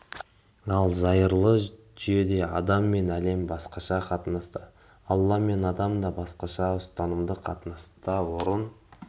ал зайырлы жүйеде адам мен әлем басқаша қатынаста алла мен адам да басқаша ұстанымдық қатынаста орын